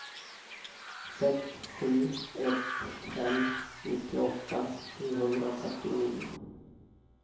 sex sju ett fem nittioåtta sjuhundrafyrtionio